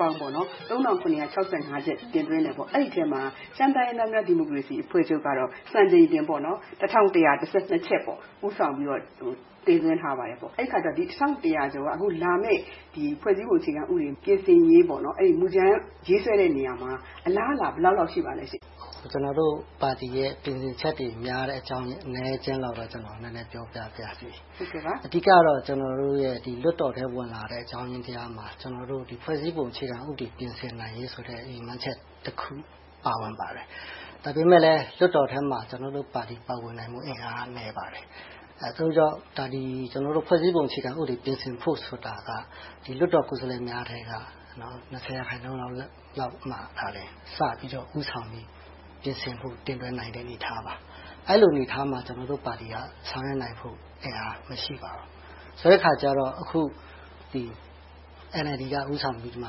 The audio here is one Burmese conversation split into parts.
ပေါင်း ချက် တင်သွင်းခဲ့တယ်။ အဲဒီအထဲမှာ ရှမ်းတိုင်းရင်းသားများ ဒီမိုကရေစီအဖွဲ့ချုပ်က စံချိန်တင် ချက် ဦးဆောင်ပြီးတော့ တင်သွင်းထားပါတယ်။ အဲဒီတစ်ထောင့်တစ်ရာကျော်က လာမယ့် ဖွဲ့စည်းပုံအခြေခံဥပဒေ ပြင်ဆင်ရေးမူကြမ်း ရေးဆွဲတဲ့နေရာမှာ အလားအလာ ဘယ်လောက်လောက် ရှိပါလဲရှင့်။ ကျနော်တို့ပါတီရဲ့ တင်သွင်းတဲ့ ပြင်ဆင်ချက်တဲ့ များတဲ့အကြောင်း အနည်းအကျဉ်းလောက်တော့ ကျနော် နည်းနည်းပြောပြပါရစေ။ အဓိကတော့ ကျနော်တို့ လွှတ်တော်ထဲဝင်လာတဲ့ အကြောင်းရင်းထဲမှာ ဖွဲ့စည်းပုံအခြေခံဥပဒေ ပြင်ဆင်နိုင်ရေးဆိုတဲ့ ရည်မှန်းချက်တခု ပါဝင်ပါတယ်။ ဒါပေမဲ့လဲ လွှတ်တော်ထဲမှာ ကျနော်တို့ ပါတီ ပါဝင်နိုင်မှု အင်အားနည်းပါတယ်။ ဒါကြောင့် ဖွဲ့စည်းပုံအခြေခံဥပဒေ ပြင်ဆင်ဖို့ဆိုတာက လွှတ်တော်ကိုယ်စားလှယ်များထဲက ရာခိုင်နှုန်းလောက်မှသာ စပြီးတော့ ဦးဆောင်ပြီးပြင်ဆင်ဖို့ တင်သွင်းနိုင်မယ့် အနေအထားပါ။ အဲဒီအနေအထားမှာ ကျနော်တို့ပါတီက ဆောင်ရွက်နိုင်ဖို့ အင်အားမရှိပါဘူး။ ဆိုတဲ့အခါကြတော့ အခု အန်အယ်လ်ဒီ က ဦးဆောင်ပြီးမှ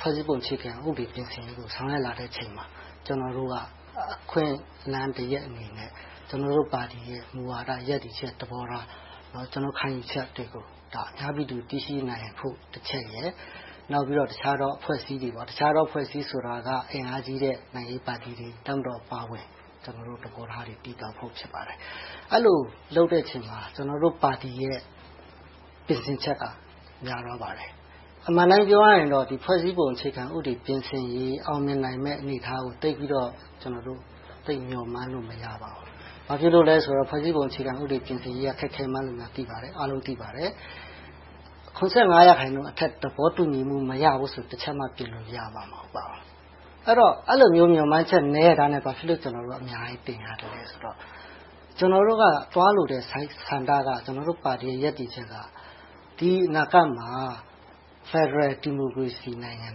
ဖွဲ့စည်းပုံအခြေခံဥပဒေ ပြင်ဆင်ရေးကို ဆောင်ရွက်လာတဲ့အချိန်မှာ ကျနော်တို့က အခွင့်အလမ်းတရပ်အနေနဲ့ ကျနော်တို့ပါတီရဲ့ မူဝါဒရပ်တည်ချက်သဘောထား။ ကျနော်တို့ ခံယူချက်တွေကို အများပြည်သူ သိရှိနိုင်ဖို့တချက်ရယ်။ နောက်ပြီးတော့ တခြားသောအဖွဲ့အစည်းတွေဆိုတာ အင်အားကြီးတဲ့ နိုင်ငံရေးပါတီတွေ၊ တပ်မတော်အပါအဝင် သဘောထားတွေ သိသွားဖို့ ဖြစ်ပါတယ်။ အဲဒီလို လုပ်တဲ့အချိန်မှာ ကျနော်တို့ပါတီရဲ့ ပြင်ဆင်ချက်က များသွားပါတယ်။ အမှန်အတိုင်းပြောရရင်တော့ ဖွဲ့စည်းပုံအခြေခံဥပဒေ ပြင်ဆင်ရေး အောင်မြင်နိုင်မယ့် အနေအထားကို သိပ်မျှော်မှန်းလို့ မရပါဘူး။ ဘာဖြစ်လို့လဲဆိုတော့ ဖွဲ့စည်းပုံအခြေခံဥပဒေ ပြင်ဆင်ရေးက ခက်ခဲကြောင်း အားလုံးသိပါတယ်။ ရာခိုင်နှုန်းအထက် သဘောတူညီမှု မရဘူးဆိုရင် တစ်ချက်မှ ပြင်လို့ရမှာ မဟုတ်ပါဘူး။ အဲဒီလို မျှော်မှန်းချက် နည်းရဲ့သားနဲ့ ဘာဖြစ်လို့ ကျနော်တို့ အများကြီးတင်ရသလဲဆိုတော့ ကျနော်တို့ သွားလို့တဲ့ဆန္ဒက ကျနော်တို့ပါတီရဲ့ ရပ်တည်ချက်က ဒီအနာဂတ်မှာ ဖယ်ဒရယ် ဒီမိုကရေစီနိုင်ငံ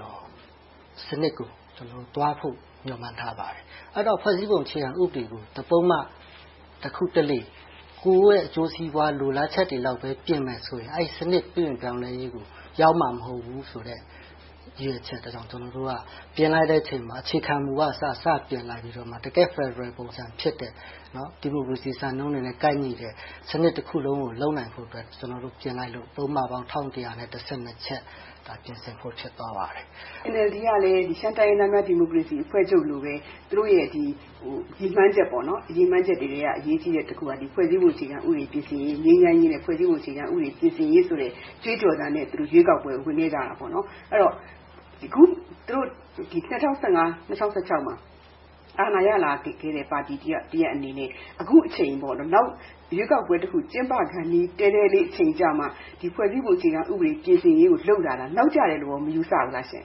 တော်စနစ်ကို သွားဖို့ မျှော်မှန်းထားပါတယ်။ အဲဒီတော့ ဖွဲ့စည်းပုံအခြေခံဥပဒေကို တစ်ပုဒ်မ၊ တစ်ခုတစ်လေ ကိုယ့်ရဲ့အကျိုးစီးပွား လိုလားချက်တွေလောက် ပြင်မယ်ဆိုရင် အဲဒီစနစ် ပြုပြင်ပြောင်းလဲရေးကို ရောက်မှာမဟုတ်ဘူးဆိုတဲ့ ရည်ရွယ်ချက်ကြောင့် ကျနော်တို့က ပြင်လိုက်တဲ့အချိန်မှာ အခြေခံမူကအစ စပြင်လိုက်ပြီးတော့မှ တကယ့်ဖယ်ဒရယ်ပုံစံဖြစ်တဲ့ ဒီမိုကရေစီစံနှုန်းတွေနဲ့ ကိုက်ညီတဲ့ စနစ်တခုလုံးကို လုပ်နိုင်ဖို့အတွက် ကျနော်တို့ ပြင်လိုက်လို့ ပုဒ်မပေါင်း ချက် ပြင်ဆင်ဖို့ ဖြစ်သွားပါတယ်။ NLD ကလည်း ရှမ်းတိုင်းရင်းသားများ ဒီမိုကရေစီအဖွဲ့ချုပ်လိုပဲ သူတို့ရဲ့ ရည်မှန်းချက်တွေက အရေးကြီးတဲ့တစ်ခုက ဖွဲ့စည်းပုံအခြေခံဥပဒေ ပြင်ဆင်ရေး၊ ငြိမ်းချမ်းရေးနဲ့ ဖွဲ့စည်းပုံအခြေခံဥပဒေ ပြင်ဆင်ရေးကြွေးကြော်သံနဲ့ ရွေးကောက်ပွဲကို ဝင်ခဲ့ကြတယ်။ အဲဒီတော့ အခု သူတို့ ၂၀၁၅-၂၀၁၆ မှာ အာဏာရလာခဲ့တဲ့ ပါတီတစ်ရပ်အနေနဲ့ အခုအချိန်၊ နောက်ရွေးကောက်ပွဲတစ်ခု ကျင်းပခါနီး တဲတဲလေး အချိန်ရောက်မှ ဖွဲ့စည်းပုံအခြေခံဥပဒေ ပြင်ဆင်ရေးကို လုပ်လာတာ နောက်ကျတယ်လို့ မယူဆဘူးလားရှင့်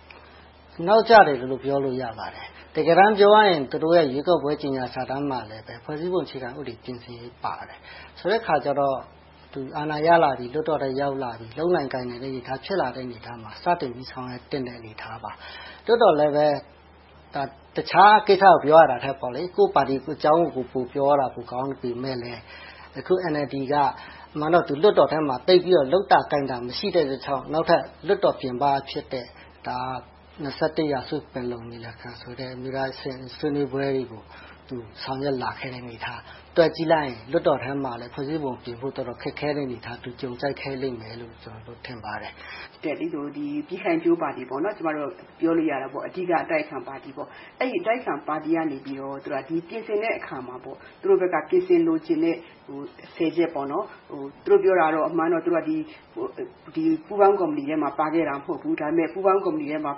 ။ နောက်ကျတယ်လို့ ပြောလို့ရပါတယ်။ တကယ်တမ်း ပြောရရင် သူတို့ရဲ့ ရွေးကောက်ပွဲကြေညာစာတမ်းမှာလည်း ဖွဲ့စည်းပုံပြင်ဆင်ရေး ပါပါတယ်။ ဆိုတဲ့အခါကြတော့ သူ အာဏာရလာပြီ၊ လွှတ်တော်ထဲ ရောက်လာပြီ၊ လုပ်နိုင်ကိုင်နိုင်တဲ့ အနေအထား ဖြစ်လာမယ့်အနေအထားမှာ စတင်ပြီးဆောင်ရွက်သင့်တဲ့ အနေအထားပါ။ သို့သော်လဲပဲ တခြားကိစ္စကို ပြောရတာထက် ကိုယ့်ပါတီ ကိုယ့်အကြောင်းကို ပိုပြောရတာ ပိုကောင်းပေမယ့်လဲ အခုလက်ရှိ NLD က အမှန်တော့ လွှတ်တော်ထဲမှာ သူသိပ်ပြီးတော့ လုပ်တာကိုင်တာ မရှိတဲ့အတွက်ကြောင့် နောက်ထပ် လွှတ်တော်ပြင်ပဖြစ်တဲ့ ရာစုပင်လုံ ညီလာခံဆိုတဲ့ အမျိုးသားအဆင့် ဆွေးနွေးပွဲတွေကို သူဆောင်ရွက်လာခဲ့တာ တွက်ကြည့်လိုက်ရင် လွှတ်တော်ထဲမှာလည်း ဖွဲ့စည်းပုံပြင်ဖို့အတွက် တော်တော်ခက်ခဲတဲ့ အနေအထား သူကြုံကြိုက်ခဲ့လို့ ကျနော် ထင်ပါတယ်။ ပြည်ခိုင်ဖြိုးပါတီ အဓိက အတိုက်အခံပါတီကနေ ပြင်ဆင်တဲ့အခါမှာ သူတို့ဘက်က ပြင်ဆင်လိုချင်တဲ့ ချက် - သူတို့ပြောတာကတော့ အမှန်တော့ ပူးပေါင်းကော်မတီနဲ့ ပါခဲ့တာ မဟုတ်ဘူး။ ဒါပေမဲ့ ပူးပေါင်းကော်မတီထဲမှာ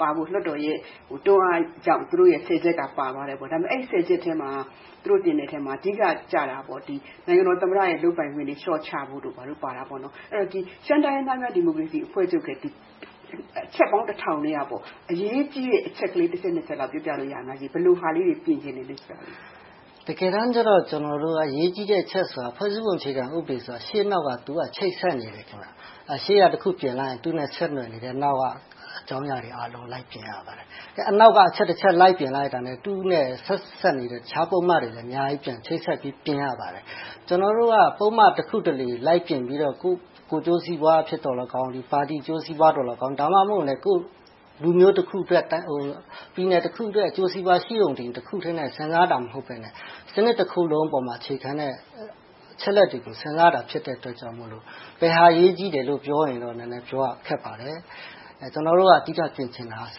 ၊ လွှတ်တော်ရဲ့ တွန်းအားကြောင့် သူတို့ရဲ့ ဆယ်ချက်က ပါသွားတယ်။ အဲဒီ ဆယ်ချက်ထဲမှာ သူတို့တင်တဲ့ထဲမှာ နိုင်ငံတော်သမ္မတရဲ့ လုပ်ပိုင်ခွင့်တွေ လျှော့ချဖို့တို့ ဘာတို့ပါတယ်။ အဲဒီတော့ ရှမ်းတိုင်းရင်းသားအဖွဲ့ချုပ်ရဲ့ အချက်ပေါင်း တစ်ထောင်ကျော်ကတည်းက အရေးကြီးတဲ့ အချက်ကလေး တစ်ချက်၊ နှစ်ချက်လောက် ပြောပြလို့ရမလား။ ဘယ်လိုဟာလေးတွေ ပြင်ချင်သလဲဆိုတာ။ တကယ်တမ်းကြတော့ ကျနော်တို့က အရေးကြီးတဲ့ အချက်ဆိုတာ ဖွဲ့စည်းပုံအခြေခံဥပဒေဆိုတာ ရှေ့နောက်က ချိတ်ဆက်နေတယ်။ ရှေ့ကတစ်ခု ပြင်လိုက်ရင် သူနဲ့ ဆက်နွယ်နေတဲ့ နောက်က အကြောင်းအရာအားလုံကို လိုက်ပြင်ရပါတယ်။ အနောက်က အချက်တချက် လိုက်ပြင်လိုက်နဲ့ သူနဲ့ ဆက်နွယ်နေတဲ့ တခြာပုဒ်မတွေလည်း ချိတ်ဆက်ပြီး ပြင်ရပါတယ်။ ကျနော်တို့က ပုဒ်မ တစ်ခုတစ်လေ လိုက်ပြင်ပြီးတော့ ကိုယ့်ကိုယ်ကျိုးစွာ အဖြစ်သော်လည်းကောင်း၊ ပါတီအကျိုးပွားသော်လည်းကောင်း ဒါမှမဟုတ် လူမျိုးတစ်စုအတွက်၊ ပြည်သူတစ်ခုအတွက် အကျိုးစီးပွား ရှိရုံတင် တစ်ခုတည်းနဲ့ စဉ်းစားတာ မဟုတ်ဘဲနဲ့ စနစ်တခုလုံးအပေါ်မှာ အခြေခံတဲ့ အချက်အလက်တွေကို စဉ်းစားတာ ဖြစ်တဲ့အတွက်ကြောင့်မို့ ဘယ်ဟာအရေးကြီးတယ်လို့ ပြောရင်တော့ နည်းနည်းခက်ပါတယ်။ ကျနော်တို့က အဓိက ပြင်ချင်တာက စ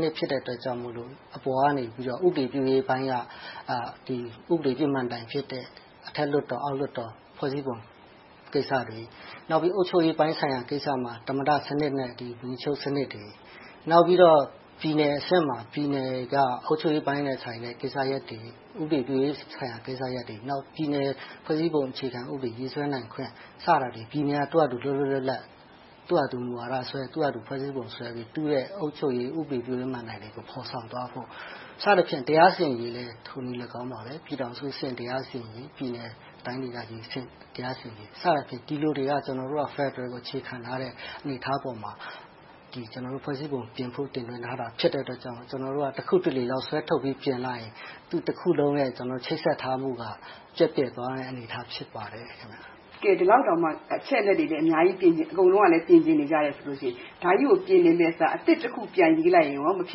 နစ် ဖြစ်တဲ့အတွက်ကြောင့်မို့ အပေါ်ကနေ ဥပဒေပြုရေးပိုင်းက ဥပဒေပြုမဏ္ဍိုင်ဖြစ်တဲ့ အထက်လွှတ်တော်၊ အောက်လွှတ်တော် ဖွဲ့စည်းပုံကိစ္စတွေ။ အုပ်ချုပ်ရေးပိုင်းဆိုင်ရာမှာ သမ္မတစနစ်နဲ့ ဝန်ကြီးချုပ်စနစ်တွေ။ နောက်ပြီးတော့ ပြည်နယ်အဆင့်မှာ ပြည်နယ်က အုပ်ချုပ်ရေးပိုင်းနဲ့ဆိုင်တဲ့ ကိစ္စရပ်တွေ၊ ဥပဒေပြုရေးဆိုင်ရာ ကိစ္စရပ်တွေ၊ နောက်ဆုံးတော့ ပြည်နယ်အခြေခံ ဥပဒေ ရေးဆွဲနိုင်ခွင့် စတာတွေကို ပြည်နယ်တွေက လွတ်လွတ်လပ်လပ် သူ့ဟာသူ မူဝါဒဆွဲ၊ သူ့ဟာသူ ဖွဲ့စည်းပုံဆွဲပြီး သူ့ရဲ့ အုပ်ချုပ်ရေး၊ ဥပဒေပြုရေး မဏ္ဍိုင်တွေကို ဖော်ဆောင်သွားဖို့ စသည်ဖြင့် တရားစီရင်ရေးလည်း ထိုနည်းလည်းကောင်းပါပဲ - ပြည်ထောင်စုအဆင့် တရားစီရင်ရေး၊ ပြည်နယ်တိုင်းဒေသကြီးအဆင့် ဒါတွေက ဖယ်ဒရယ်ကို အခြေခံထားတဲ့ အနေအထားပေါ်မှာ ဖွဲ့စည်းပုံပြင်ဖို့ တင်သွင်းထားတာ ဖြစ်တဲ့အတွက်ကြောင့် ကျနော်တို့က တစ်ခုတစ်လေလောက် စွဲထုတ်ပြီး ပြင်လိုက်ရင် တစ်ခုလုံးရဲ့ ချိတ်ဆက်ထားမှုက ပျက်ပြယ်သွားတဲ့ အနေအထား ဖြစ်ပါတယ်။ ကဲ ဒီလောက်တောင်မှ အချက်အလက်တွေ အများကြီးပြင်ချင်။ အကုန်လုံးကလည်း ပြင်ဆင်နေချင်လို့ဆိုရင် မမှားပါဘူး။ ဒါကြီးကို ပြင်နေမယ့်အစား အသစ်တစ်ခု ပြန်ရေးလိုက်ရင်ကော မဖြ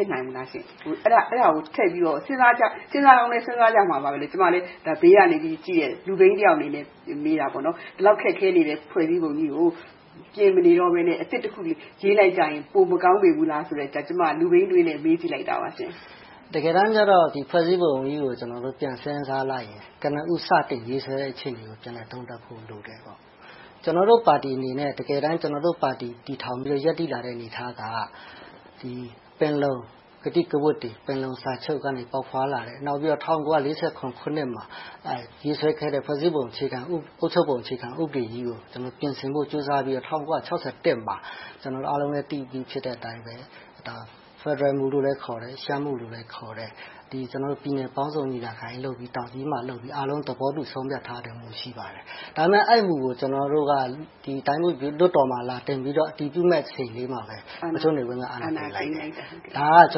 စ်နိုင်ဘူးလား။ အဲဒါကို ထည့်ပြီးတော့ စဉ်းစားကြကြမှာပါ။ ကျမလဲ ဘေးကနေကြည့်ပြီးပြောတဲ့ လူပိန်းတစ်ယောက်အနေနဲ့ မေးတာ။ ဒီလောက် ခက်ခဲနေတဲ့ ဖွဲ့စည်းပုံကြီးကို ပြင်မနေတော့ဘဲနဲ့ အသစ်တခု ရေးလိုက်ကြရင် ပိုမကောင်းလေဘူးလားဆိုတဲ့ လူပိန်းအတွေးနဲ့ မေးကြည့်လိုက်တာပါ။ တကယ်တမ်းကြတော့ ဖွဲ့စည်းပုံကြီးကို ကျနော်တို့ ပြန်စဉ်းစားလိုက်ရင် ကနဦး စတင်ရေးဆွဲတဲ့အချိန်ကို ပြန်လည်သုံးသပ်ဖို့ လိုတယ်။ ကျနော်တို့ ပါတီအနေနဲ့ တကယ်တမ်း ကျနော်တို့ပါတီ တည်ထောင်ပြီးတော့ ရပ်တည်လာတဲ့ အနေအထားက ပင်လုံကတိကဝတ်တွေ၊ ပင်လုံစာချုပ်ကနေ ပေါက်ဖွားလာတဲ့ နောက်ပြီးတော့ ၁၉၄၇ ခုနှစ်မှာ ရေးဆွဲခဲ့တဲ့ ဖွဲ့စည်းပုံ အခြေခံ၊ အုပ်ချုပ်ပုံအခြေခံ ဥပဒေကြီးကို ပြင်ဆင်ဖို့ ကြိုးစားပြီးတော့ ၁၉၆၁ မှာ အားလုံးလဲ သိပြီးတဲ့အတိုင်းပဲ ဖယ်ဒရယ်မူလို့လည်း ခေါ်တယ်။ ရှမ်းမူလို့လည်းခေါ်တဲ့ ပြည်နယ်ပေါင်းစုံညီလာခံ လုပ်ပြီ၊ တောင်ကြီးမှာလုပ်ပြီး အားလုံးသဘောတူ ဆုံးဖြတ်ချက်ထားတဲ့ မူ ရှိပါတယ်။ အမှန် အဲဒီမူကို ကျနော်တို့က လွှတ်တော်မှာ လာတင်ပြီးတော့ အတည်ပြုတော့မယ့် အချိန်လေးမှာပဲ ဗိုလ်ချုပ်နေဝင်းက အာဏာသိမ်းလိုက်တာ။ ဒါက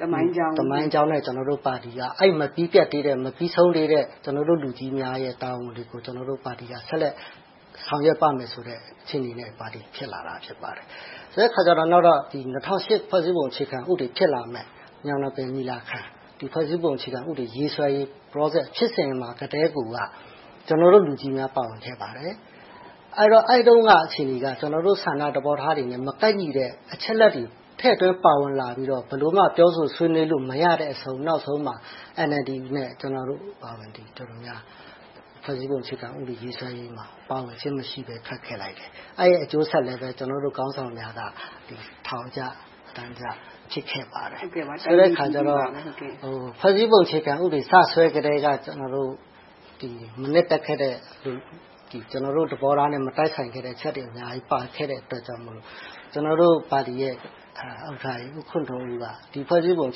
သမိုင်းကြောင်းနဲ့ ကျနော်တို့ ပါတီက အဲဒီမပြီးပြတ်သေးတဲ့၊ မပြီးဆုံးသေးတဲ့ လူကြီးများရဲ့ တာဝန်ကို ကျနော်တို့ပါတီက ဆက်လက်ဆောင်ရွက်ပါမယ်ဆိုတဲ့ အခြေအနေကတော့ ပါတိ ဖြစ်လာတာ ဖြစ်ပါတယ်။ ဆိုတော့ ၂၀၀၈ ဖွဲ့စည်းပုံအခြေခံဥပဒေ ဖြစ်လာမယ့် ညောင်နှစ်ပင် ညီလာခံ - ဖွဲ့စည်းပုံအခြေခံဥပဒေ ရေးဆွဲရေး ဖြစ်စဉ်ကတည်းကိုက ကျနော်တို့ လူကြီးများ ပါဝင်ခဲ့ပါတယ်။ အဲဒီတုန်းက အခြေအနေက ကျနော်တို့ ဆန္ဒသဘောထားတွေနဲ့ မကိုက်ညီတဲ့ အချက်အလက်တွေ ထည့်သွင်းပါဝင်လာပြီးတော့ ဘယ်လိုမှ ပြောဆိုဆွေးနွေးလို့ မရတဲ့အဆုံး နောက်ဆုံးမှာ NLD နဲ့ ကျနော်တို့အပါအဝင် ဖွဲ့စည်းပုံအခြေခံဥပဒေ ရေးဆွဲရေးမှာ ဆက်လက်ပါဝင်ခြင်းမရှိဘဲ ထွက်ခဲ့လိုက်တယ်။ အဲဒီနောက်ဆက်တွဲ အကျိုးဆက်တွေကိုလည်း ကျနော်တို့ ထောင်ကျတန်းကျ၊ ဖြစ်ခဲ့ပါတယ်။ အဲဒီအခါကြတော့ ဖွဲ့စည်းပုံအခြေခံဥပဒေ စဆွဲကတည်းက ကျနော်တို့ မနှစ်သက်တဲ့၊ ကျနော်တို့ သဘောထားနဲ့ မတိုက်ဆိုင်တဲ့ အချက်တွေ အများကြီး ပါခဲ့တဲ့အတွက်ကြောင့်မို့ ကျနော်တို့ပါတီရဲ့ ဦးခွန်ထွန်းဦးက ဒီဖွဲ့စည်းပုံ အ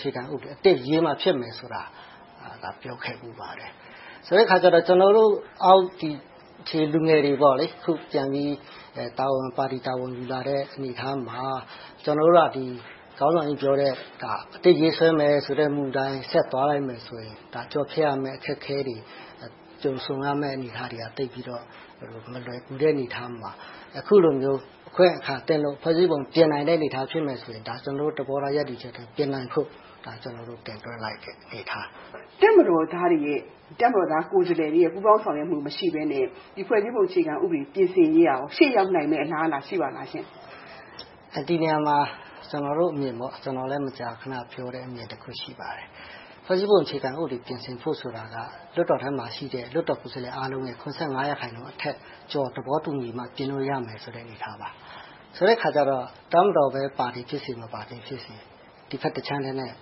ခြေခံဥပဒေ အသစ်ရေးမှ ဖြစ်မယ်ဆိုတာကို ပြောခဲ့ဖူးပါတယ်။ ဆိုတဲ့အခါကြတော့ ကျနော်တို့ အောက်ခြေလူငယ်တွေ အခုပြန်ပြီး ပါတီတာဝန်တွေ ယူလာတဲ့အနေအထားမှာ ကျနော်တို့က ခေါင်းဆောင်ကြီးပြောတဲ့ အသစ်ရေးဆွဲမယ်ဆိုတဲ့ မူအတိုင်း ဆက်သွားလိုက်မယ်ဆိုရင် ဒါက ကျော်ဖြတ်ရမယ့် အခက်အခဲတွေ ကြုံဆုံရမယ့် အနေအထားတွေက သိပ်ပြီးတော့ မလွယ်ကူတဲ့ အနေအထားမှာ အခုအခါလို အခွင့်အခါသင့်လို့ ဖွဲ့စည်းပုံ ပြင်နိုင်မယ့် အနေအထား ဖြစ်မယ်ဆိုရင်တော့ ကျနော်တို့ သဘောထား ရပ်တည်ချက် ပြင်နိုင်ဖို့ တင်သွင်းလိုက်တဲ့ အနေအထား။ တပ်မတော်သားတွေရဲ့ ကိုယ်စားလှယ်တွေရဲ့ ပူးပေါင်းဆောင်ရွက်မှု မရှိဘဲနဲ့ ဖွဲ့စည်းပုံအခြေခံဥပဒေ ပြင်ဆင်ရေးက ရှေ့ရောက်နိုင်မယ့် အလားအလာ ရှိပါလား။ ဒီနေရာမှာ ကျနော်တို့အမြင် မကြာခဏပြောတဲ့ အမြင်တစ်ခု ရှိပါတယ်။ ဖွဲ့စည်းပုံ အခြေခံဥပဒေ ပြင်ဆင်ဖို့ဆိုတာက လွှတ်တော်ထဲမှာရှိတဲ့ ကိုယ်စားလှယ်အားလုံးရဲ့ ရာခိုင်နှုန်းအထက် သဘောတူညီနိုင်မှ ပြင်လို့ရမယ်ဆိုတဲ့ အနေအထားပါ။ ဆိုတဲ့အခါကြတော့ တပ်မတော် ပါသည်ဖြစ်စေ၊ မပါသည်ဖြစ်စေ ဒီဘက်တခြမ်းတည်းနဲ့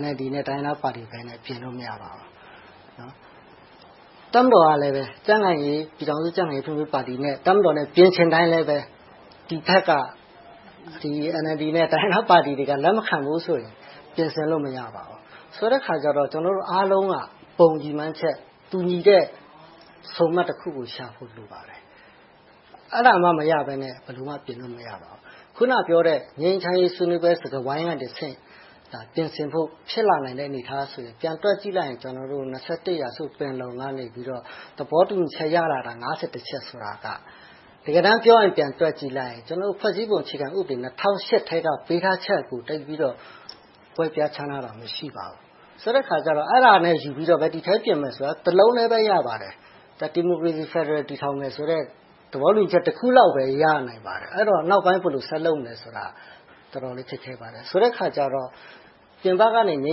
NLD နဲ့ တိုင်းရင်းသားပါတီဘက်နဲ့ ပြင်လို့မရပါဘူး။ တပ်မတော်ကလည်း ကြံ့ခိုင်ရေးပါတီနဲ့ တပ်မတော်နဲ့ ပြင်ချင်တိုင်းလဲ ဒီဘက်က NLD နဲ့ တိုင်းရင်းသားပါတီတွေက လက်မခ့ဘူးဆိုရင် ပြင်ဆင်လို့ မရပါဘူး။ ဆိုတဲ့အခါကြတော့ ကျနောတို့အားလုံးက ဘုံရည်မှန်းချက် တူညီတဲ့ ဆုံမှတ်တခုကိုရဖို့ လိုပါတယ်။ အဲဒါမှ မရဘဲနဲ့ ဘယ်လိုမှ ပြင်လို့မရပါဘူး။ အခုနပြောတဲ့ ငြိမ်းချမ်းရေး ဆွေးနွေးပွဲကတဆင့် ပြင်ဆင်ဖို့ ဖြစ်လာနိုင်တဲ့ အနေအထားကို ပြန်တွက်ကြည့်လိုက်ရင် ရာစု ပင်လုံကနေ သဘောတူညီချက် ရလာတဲ့ ချက် ဆိုတာက တကယ်တမ်းပြောရင် ပြန်တွက်ကြည့်လိုက် ဖွဲ့စည်းပုံအခြေခံဥပဒေ ကတည်းက ပေးထားချက်ကို သိပ်ပြီးတော့ ကွဲပြားခြားနားတာ မရှိပါဘူး။ ဆိုတဲ့အခါကြတော့ အဲဒါနဲ့ယူပြီးတော့ ဒီအတိုင်းပြန်မယ်ဆိုရင် တစ်လုံးတည်းလည်း ရပါတယ်။ ဒီမိုကရေစီ-ဖယ်ဒရယ် တည်ထောင်မယ်ဆိုတဲ့ သဘောတူညီချက် တစ်ခုလောက်ပဲ ရနိုင်ပါတယ်။ အဲဒီတော့ နောက်ပိုင်းဘယ်လို ဆက်လုပ်မလဲဆိုတာ တော်တော်လေး ခက်ခဲပါတယ်။ ဆိုတဲ့အခါကြတော့ ပြင်ပကနေ ငြိ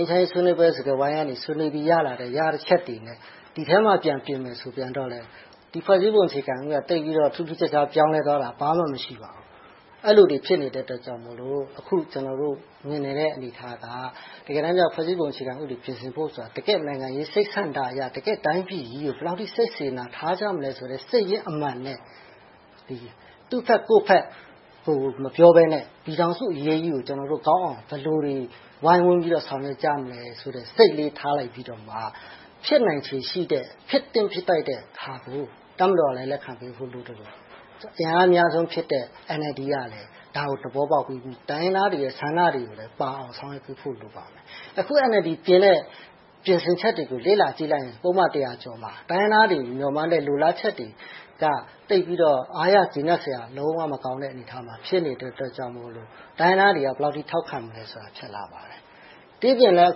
မ်းချမ်းရေးဆွေးနွေးပွဲ စကားဝိုင်းကနေ ဆွေးနွေးပြီး ရလာတဲ့ အချက်တွေနဲ့ ဒီထဲမှာ ပြန်ပြင်မယ် ဆိုပြန်တော့လဲ ဒီဖွဲ့စည်းပုံ အခြေခံကြီးက သိပ်ပြီးတော့ ထူးထူးခြားခြား ပြောင်းလဲသွားတာ ဘာမှမရှိပါဘူး။ အဲဒီလိုတွေ ဖြစ်နေတဲ့အတွက်ကြောင့်မို့ အခု ကျနော်တို့ မြင်နေတဲ့ အနေအထားက တကယ်တမ်းကြတော့ ဖွဲ့စည်းပုံအခြေခံ ပြင်ဆင်ဖို့ဆိုတာ တကယ့်နိုင်ငံရေး စိတ်ဆန္ဒအရ၊ တိုင်းပြည်ကြီးအပေါ် ဘယ်လောက်အထိ စိတ်စေတနာထားကြမလဲဆိုတဲ့ စိတ်ရင်းအမှန်နဲ့ သူ့ဘက်ကိုယ့်ဘက်ကို မပြောဘဲနဲ့ ပြည်ထောင်စုအရေးကြီးကို ကျနော်တို့ ကောင်းအောင် ဘယ်လိုတွေ ဝိုင်းဝန်းပြီးတော့ ဆောင်ရွက်ကြမလဲဆိုတဲ့ စိတ်လေးထားခဲ့ပြီးတော့ ဖြစ်နိုင်ချေရှိတဲ့ ဖြစ်သင့်ဖြစ်ထိုက်တဲ့ဟာကို တပ်မတော်လည်း လက်ခံပေးဖို့ လိုသလို၊ အင်အားအများဆုံးဖြစ်တဲ့ NLD ကလည်း ဒါကို သဘောပေါက်ပြီး တိုင်းရင်းသားတွေရဲ့ ဆန္ဒတွေကိုလည်း ကောင်းအောင်ဆောင်ရွက်ပေးဖို့ လိုပါတယ်။ အခု NLD ပြင်တဲ့ ပြင်ဆင်ချက်တွေကို လေ့လာကြည့်လိုက်ရင် ပုဒ်မ တစ်ရာကျော်မှာ တိုင်းရင်းသားတွေ မျှော်မှန်းတဲ့ လိုလားချက်တွေက သိပ်ပြီးတော့ အားရကျေနပ်စရာ လုံးဝမကောင်းတဲ့ အနေအထားမှာ ဖြစ်နေတဲ့အတွက်ကြောင့်မို့ တိုင်းရင်းသားတွေက ဘယ်လောက်အထိ ထောက်ခံမလဲဆိုတာကို ဖြစ်လာပါတယ်။ ဒီအပြင်လဲ အ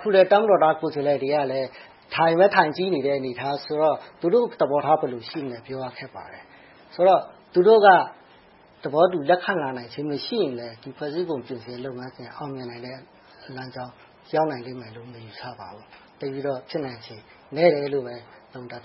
ခုဆိုရင် တပ်မတော်သားကိုယ်စားလှယ်တွေကလည်း ထိုင်ပဲထိုင်ကြည့်နေတဲ့ အနေအထားဆိုတော့ သူတို့သဘောထား ဘယ်လို ရှိမလဲဆိုတာ ပြောရခက်ပါတယ်။ ဆိုတော့ သူတို့က သဘောတူ လက်ခံနိုင်ခြင်း မရှိရင် ဖွဲ့စည်းပုံပြင်ဆင်ရေး လုပ်ငန်းစဉ် အောင်မြင်နိုင်မယ့်လမ်းကြောင်း ရောက်လာလိမ့်မယ်လို့ မယူဆပါဘူး။ သိပ်ပြီးတော့ ဖြစ်နိုင်ချေနည်းတယ်။ အဲဒီလိုပဲ သုံးသပ်